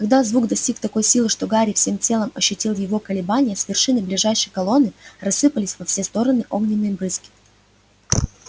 когда звук достиг такой силы что гарри всем телом ощутил его колебания с вершины ближайшей колонны рассыпались во все стороны огненные брызги